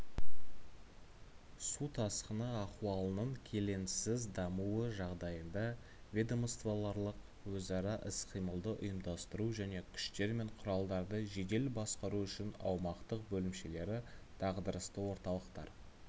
су тасқыны ахуалының келеңсіз дамуы жағдайында ведомствоаралық өзара іс-қимылды ұйымдастыру және күштер мен құралдарды жедел басқару үшін аумақтық бөлімшелері дағдарысты орталықтар